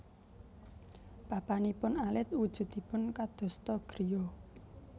Papanipun alit wujudipun kadosta griya